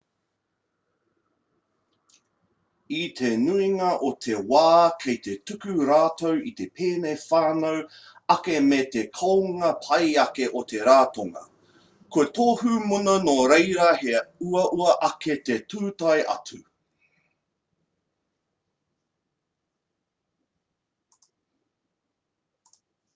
i te nuinga o te wā kei te tuku rātou i te pēne whānui ake me te kounga pai ake o te ratonga kua tohu muna nō reira he uaua ake te tūtai atu